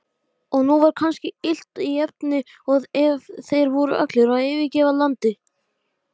Ég hefði aldrei getað þetta án þín og allt það.